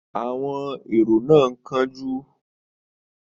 Àwọn èrò náà ń kánjú.